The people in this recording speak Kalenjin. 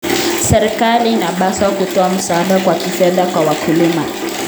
Serikali inapaswa kutoa msaada wa kifedha kwa wakulima.